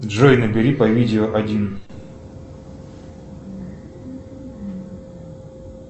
джой набери по видео один